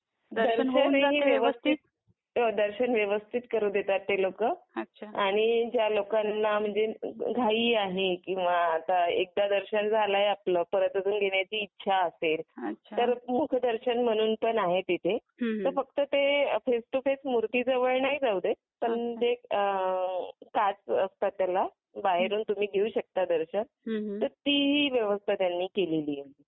दर्शन होऊनाही व्यवस्थित दर्शन व्यवस्थित करू देतात ते लोक आणि ज्या लोकांना म्हणजे घाई आहे एकदा दर्शन झालाय आपलं परत घेण्याची इच्छा असेल तर मुखदर्शन म्हणून पण आहे तिथे त फक्त ते फेस टू फेस मूर्ती जवळ नाही जाऊ देत पण ते काच असत त्याला बाहेरून तुम्ही घेऊ शकता दर्शन अति ही व्यवस्था त्यांनी केली आहे.